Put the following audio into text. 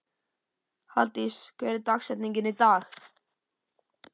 Halldís, hver er dagsetningin í dag?